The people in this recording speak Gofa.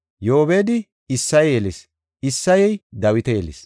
Yoobedi Isseye yelis; Isseyey Dawita yelis.